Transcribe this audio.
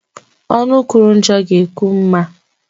Ọnụ kwuru njọ ga-ekwu mma